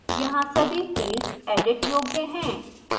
यहाँ सभी fields edit योग्य हैं